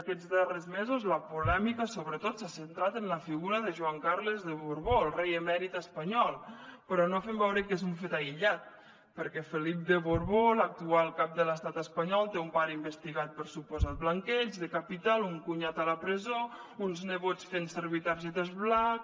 aquests darrers mesos la polèmica sobretot s’ha centrat en la figura de joan carles de borbó el rei emèrit espanyol però no fem veure que és un fet aïllat perquè felip de borbó l’actual cap de l’estat espanyol té un pare investigat per suposat blanqueig de capital un cunyat a la presó uns nebots fent servir targetes black